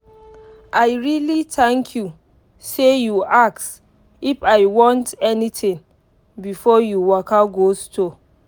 i really thank you sey you ask if i want anything before you waka go store.